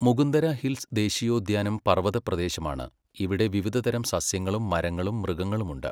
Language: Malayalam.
മുകുന്ദര ഹിൽസ് ദേശീയോദ്യാനം പർവതപ്രദേശമാണ്, ഇവിടെ വിവിധതരം സസ്യങ്ങളും മരങ്ങളും മൃഗങ്ങളും ഉണ്ട്.